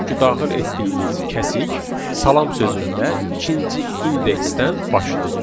Çünki daxil etdiyimiz kəsik salam sözündə ikinci indeksdən başlayır.